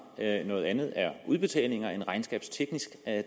noget andet er udbetalinger en regnskabsteknisk